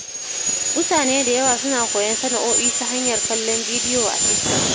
Mutane da yawa suna koyon sana'o'i ta hanyar kallon bidiyo a TikTok.